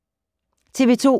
TV 2